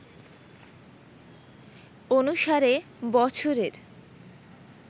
অনুসারে বছরের